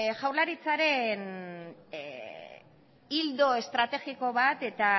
jaurlaritzaren ildo estrategiko bat